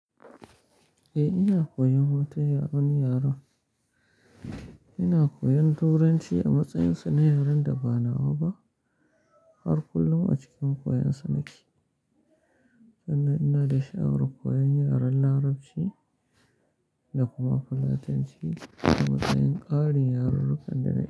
Eh, ina koyan wata yaren yaron. Ina koyan Turanci a matsayin sa na yaren da ba nawa har kullum a cikin koyonsa nake sannan ina da sha'awar koyon yaren Larabci da kuma Fulatanci a matsayin ƙarin yarrurrukan da na.